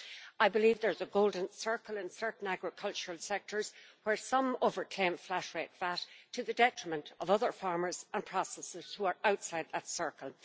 I believe there is a golden circle in certain agricultural sectors where some over-claim flat-rate VAT to the detriment of other farmers and processors who are outside that circle.